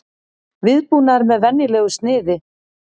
Viðbúnaður með venjulegu sniði